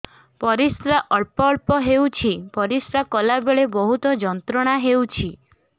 ପରିଶ୍ରା ଅଳ୍ପ ଅଳ୍ପ ହେଉଛି ପରିଶ୍ରା କଲା ବେଳେ ବହୁତ ଯନ୍ତ୍ରଣା ହେଉଛି